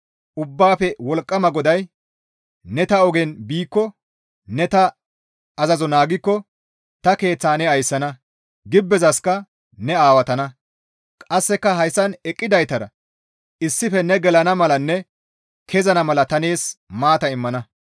Ubbaafe Wolqqama GODAY, «Ne ta ogen biikko, ne ta azazo naagikko ta keeththa ne ayssana; gibbezasikka ne aawatana. Qasseka hayssan eqqidaytara issife ne gelana malanne kezana mala ta nees maata immana.